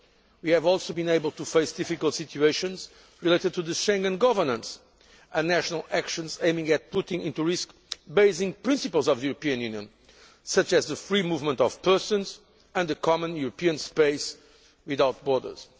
ago. We have also been able to face difficult situations related to Schengen governance and national actions aiming to put at risk basic principles of the European Union, such as the free movement of persons and a common European space without borders.